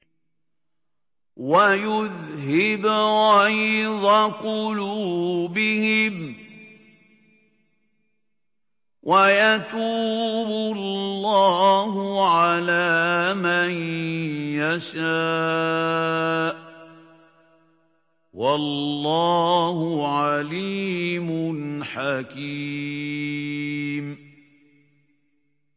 وَيُذْهِبْ غَيْظَ قُلُوبِهِمْ ۗ وَيَتُوبُ اللَّهُ عَلَىٰ مَن يَشَاءُ ۗ وَاللَّهُ عَلِيمٌ حَكِيمٌ